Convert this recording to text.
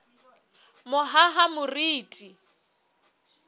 mohahamoriti